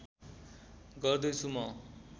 गर्दै छु म